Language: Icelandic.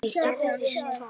Hvað gerðist þá?